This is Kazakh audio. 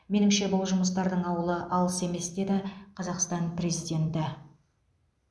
меніңше бұл жұмыстардың ауылы алыс емес деді қазақстан президенті